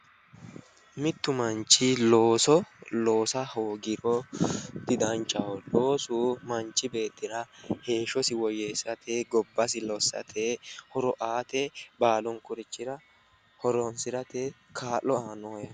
Mitu manchi looso loossa hoogiro didanchaho, loosu manchi beettira heeshshosi woyyeesirate gobbasi lossate horo aate baallunkurichira horonsirate kaa'lo aano.